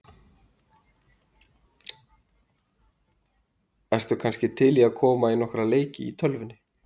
Ertu kannski til í að koma í nokkra leiki í tölvunni?